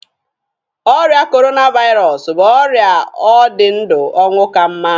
Ọrịa korona vairọsụ bụ ọrịa ọ dị ndụ ọnwụ ka mma.